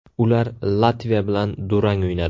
Ular Latviya bilan durang o‘ynadi.